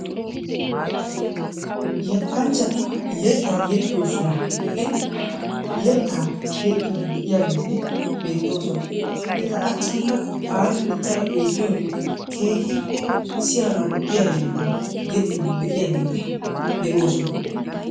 Yettanchchati yettaa yexiyoo sohuwan eqiri yettaa yexxiiddi de'iyaageeti beettoosona. Eta achchankka taani uttada xeelliyoore keehippe siyanawu lo"iya yettaa yexxiiddi de"iyaageeti de"oosona.